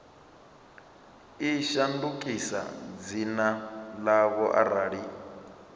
i shandukise dzina ḽayo arali